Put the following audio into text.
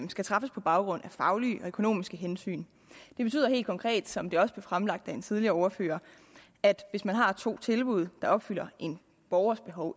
skal træffes på baggrund af faglige og økonomiske hensyn det betyder helt konkret som det også blev fremlagt af en tidligere ordfører at hvis man har to ens tilbud der opfylder en borgers behov